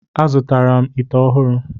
Azụtara m ite ọhụrụ.